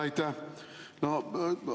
Aitäh!